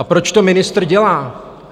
A proč to ministr dělá?